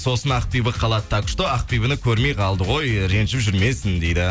сосын ақбибі қалады так что ақбибіні көрмей қалды ғой ренжіп жүрмесін дейді